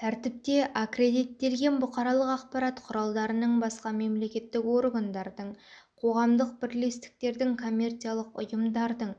тәртіпте аккредиттелген бұқаралық ақпарат құралдарының басқа мемлекеттік органдардың қоғамдық бірлестіктердің коммерциялық ұйымдардың